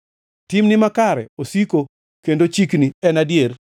Timni makare osiko kendo chikni en adier,